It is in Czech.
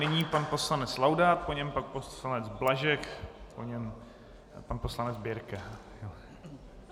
Nyní pan poslanec Laudát, po něm pak poslanec Blažek, po něm pan poslanec Birke.